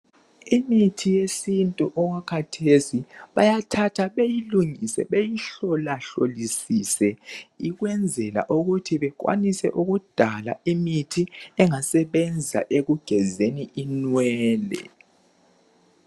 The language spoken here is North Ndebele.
Imithi yesintu okwakhathesi bayathatha beyilungise beyihlolahlolisise ukwenzela ukuthi bekwanise ukudala imithi engasebenza ekugezeni inwele